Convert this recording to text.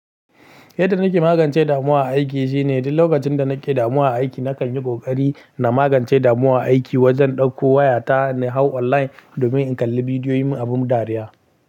Yadda nake magance damuwa a aiki shine duk lokacin da nake damuwa aiki nakan yi ƙoƙari na magance damuwa a aiki wajen ɗauko wayata na hau online domin in kalli bidiyoyin abun dariya.